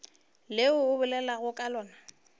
le o bolelago ka lona